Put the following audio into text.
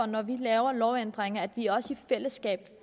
når vi laver lovændringer at vi også i fællesskab